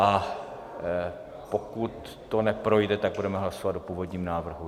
A pokud to neprojde, tak budeme hlasovat o původním návrhu.